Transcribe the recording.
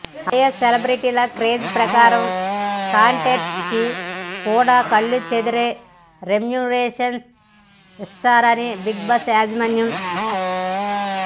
ఆయా సెలబ్రెటీల క్రేజ్ ప్రకారం కంటెస్టెంట్స్ కి కూడా కళ్ళు చెదిరే రెమ్యునరేషన్స్ ఇస్తారు బిగ్ బాస్ యాజమాన్యం